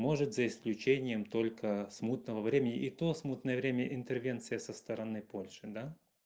может за исключением только смутного времени и то смутное время интервенция со стороны польши да